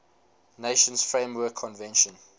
nations framework convention